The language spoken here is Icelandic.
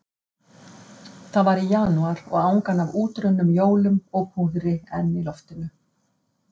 Það var í janúar og angan af útrunnum jólum og púðri enn í loftinu.